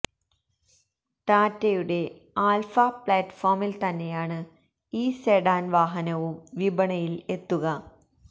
ടാറ്റയുടെ ആല്ഫ പ്ലാറ്റ്ഫോമില് തന്നെയാണ് ഈ സെഡാന് വാഹനവും വിപണിയില് എത്തുക